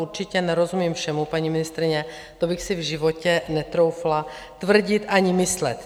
Určitě nerozumím všemu, paní ministryně, to bych si v životě netroufla tvrdit ani myslet.